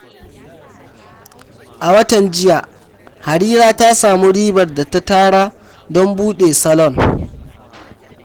A watan jiya, Harira ta samu ribar da ta tara don buɗe salon.